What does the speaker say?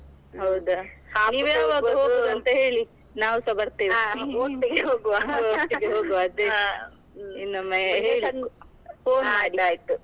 ಹೌದಾ? ಅಂತ ಹೇಳಿ ನಾವ್ಸ ಬರ್ತೇವೆ .